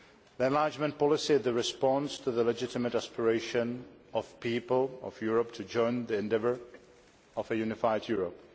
The enlargement policy is the response to the legitimate aspiration of the people of Europe to join the endeavour of a unified Europe.